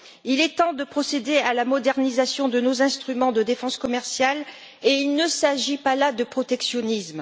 Il est temps de procéder à la modernisation de nos instruments de défense commerciale et il ne s'agit pas là de protectionnisme.